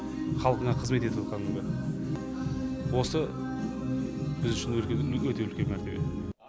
халқына қызмет ету кәдімгі осы біз үшін өте үлкен мәртебе